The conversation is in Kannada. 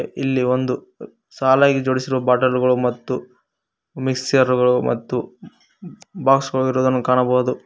ಇಲ್ಲಿ ಒಂದು ಸಾಲಾಗಿ ಜೋಡಿಸಿರುವ ಬಾಟಲು ಗಳು ಮತ್ತು ಮಿಕ್ಸರ್ ಗಳು ಮತ್ತು ಬಾಕ್ಸ್ ಗಳು ಇರುವುದನ್ನು ಕಾಣಬಹುದು.